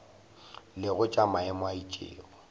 lego tša maemo a itšego